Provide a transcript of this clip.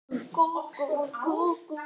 Svo þung er mín þrá.